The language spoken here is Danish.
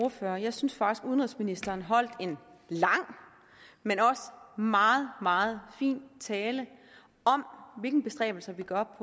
ordfører jeg synes faktisk at udenrigsministeren holdt en lang men også meget meget fin tale om hvilke bestræbelser vi gør